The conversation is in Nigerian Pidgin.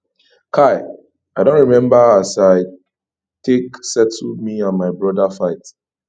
kai i don rememba as i take settle me and my broda fight